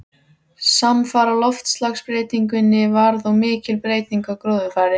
Samfara loftslagsbreytingunni varð og mikil breyting á gróðurfari.